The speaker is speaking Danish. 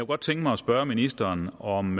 godt tænke mig at spørge ministeren om